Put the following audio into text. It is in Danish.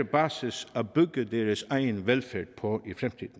basis at bygge deres egen velfærd på